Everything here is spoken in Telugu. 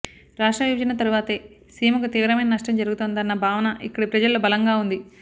రాష్ట్ర విభజన తరువాతే సీమకు తీవ్రమైన నష్టం జరుగుతోందన్న భావన ఇక్కడి ప్రజల్లో బలంగా ఉంది